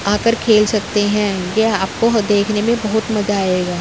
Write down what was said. आकर खेल सकते हैं। यह आपको ह देखने में बहुत मज़ा आएगा।